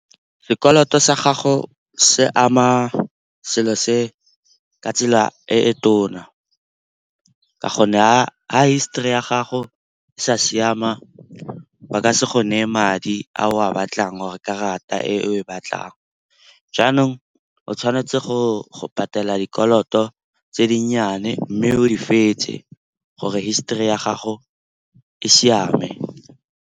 Sekoloto sa gago se ama selo se ka tsela e e tona ka gonne ga histori ya gago e sa siama ba ka se go neye madi a o a batlang or-e karata e o e batlang. Jaanong o tshwanetse go patela dikoloto tse dinnyane mme o di fetse gore history ya gago e siame.